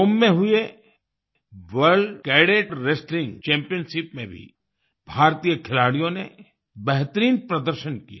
रोम में हुए world cadet wrestling championship में भी भारतीय खिलाड़ियों ने बेहतरीन प्रदर्शन किया